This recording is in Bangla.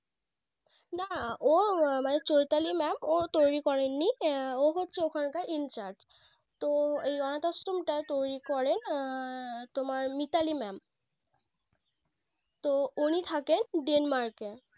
না ও মানে Choitali Mam ও তৈরী করেননি ও হচ্ছে ওখানকার incharge তো এই অনাথ আশ্রমটা তৈরী করে তোমার Mitali Mam তো উনি থাকেন Denmark এ